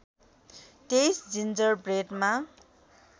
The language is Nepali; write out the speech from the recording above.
२३ जिन्जर ब्रेडमा